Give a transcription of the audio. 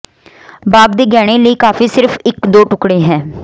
ਬਾਗ ਦੇ ਗਹਿਣੇ ਲਈ ਕਾਫ਼ੀ ਸਿਰਫ ਇੱਕ ਦੋ ਟੁਕੜੇ ਹੈ